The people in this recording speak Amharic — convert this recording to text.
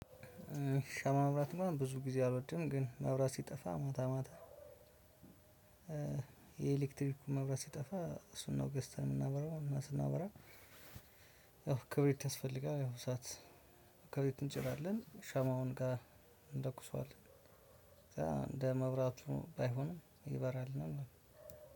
ሻማ ማብራትማ ብዙ ጊዜ አልወድም። ግን መብራት ሲጠፋ ማታ ማታ የኤሌክትሪኩን መብራት ሲጠፋ እሱን ነው ገዝተን የምናበራው። እና ስናበራ ያው ክብሪት ያስፈልጋል። ያው እሳት ክብሪት እንጭራለን ሻማው ጋር እንለኩሰዋለን። እንደ መብራቱ ባይሆንም ይበራልናል ማለት ነው።